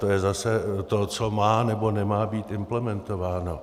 To je zase to, co má, nebo nemá být implementováno.